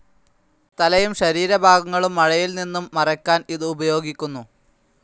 തലയും ശരീരഭാഗങ്ങളും മഴയിൽ നിന്നും മറയ്ക്കാൻ ഇത് ഉപയോഗിക്കുന്നു.